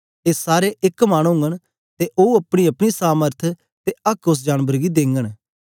ए सारे एक मन ओगन ते ओ अपनी अपनी समर्थ ते आक्क उस्स जानबर गी देंगन